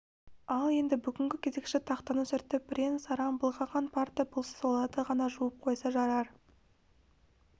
ал енді бүгінгі кезекші тақтаны сүртіп бірен-саран былғанған парта болса соларды ғана жуып қойса жарар